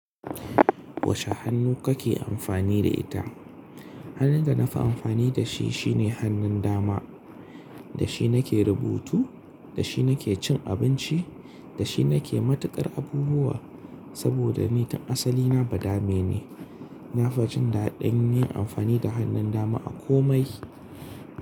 Wace hannu kake amfani da ita? Hannun da na fi amfani da shi shine hannun dama. Da shi nake rubutu, da shi nake cin abinci, da shi nake matuƙar abubuwa. Saboda ni tan asali na ba dame ne. Na fi jin daɗin yin amfani da hannun dama a komai.